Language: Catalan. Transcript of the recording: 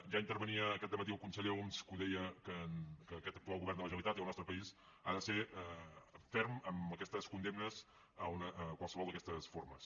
ja intervenia aquest dematí el conseller homs que deia que aquest actual govern de la generalitat i el nostre país han de ser ferms en aquestes condemnes de qualsevol d’aquestes formes